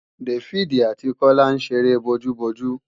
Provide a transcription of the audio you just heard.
Dáfídì àti Kọ́lá ń ṣeré bojú-bojú